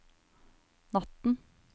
natten